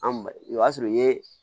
An ba o y'a sɔrɔ i ye